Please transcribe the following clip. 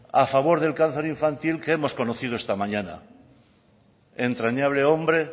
a favor del cáncer infantil que hemos conocido esta mañana entrañable hombre